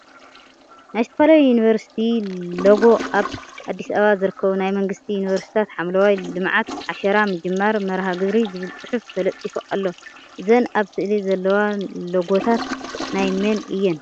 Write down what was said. ናይ ዝተፈላለዩ ዩኒቨርሲቲ ለጎ ኣብ አዲስ አበባ ዝርከቡ ናይ መንግስቲ ዩኒቨርሲቲታት ሓምለዋይ ልምዓት ዓሻራ ምጅማር መርሃ ግብሪ ዝብል ፅሑፍ ተለጢፉ ኣሎ ።እዘን ኣብ ስእሊ ዘለዋ ለጎታት ናይ መን እየን ?